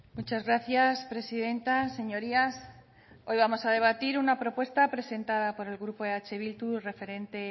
muchas gracias presidenta señorías hoy vamos a debatir una propuesta presentada por el grupo eh bildu referente